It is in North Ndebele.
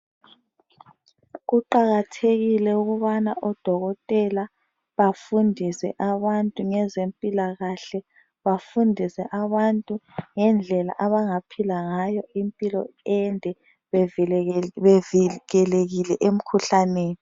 Kuqakathekile ukubana odokotela bafundise abantu ngezempilakahle, bafundise abantu ngendlela abangaphila ngayo impilo ende, bevikelekile emkhuhlaneni.